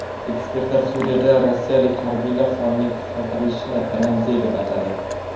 Ekspertlar Suriyada rossiyalik harbiylar sonining qisqartirilishini ramziy deb atadi.